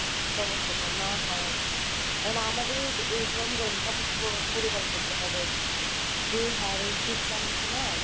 সমস্যাটা না হয় এখন আরকি এখন আমাদের এই গরম কাপড় চোপড় পরিধান করতে হবে যে হারে শীত নামছে না।